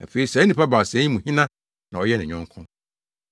“Afei saa nnipa baasa yi mu hena na ɔyɛɛ ne yɔnko?”